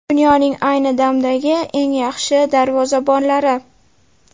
Dunyoning ayni damdagi eng yaxshi darvozabonlari.